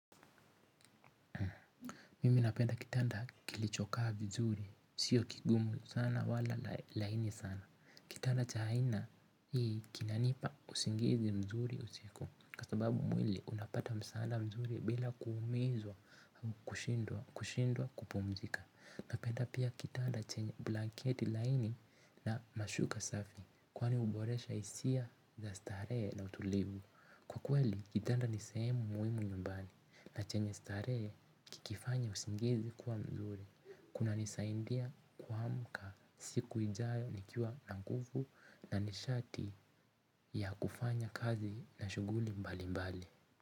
Mimi napenda kitanda kilichokaa vizuri sio kigumu sana wala laini sana kitanda cha aina hii kinanipa usingizi mzuri usiku kwa sababu mwili unapata msaada mzuri bila kuumizwa au kushindwa kushindwa kupumzika napenda pia kitanda chenye blanketi laini na mashuka safi kwani huboresha hisia za starehe na utulivu kwa kweli kitanda ni sehemu muhimu nyumbani na chenye starehe kikifanya usingizi kuwa mzuri kunanisaidia kuamka siku ijayo nikiwa na nguvu na nishati ya kufanya kazi na shughuli mbalimbali.